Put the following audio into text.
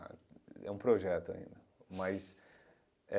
É um projeto ainda, mas é...